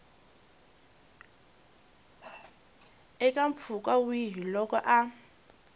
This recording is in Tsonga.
eka mpfhuka wihi loko a